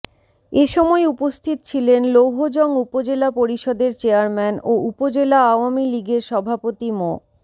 এ সময় উপস্থিত ছিলেন লৌহজং উপজেলা পরিষদের চেয়ারম্যান ও উপজেলা আওয়ামী লীগের সভাপতি মো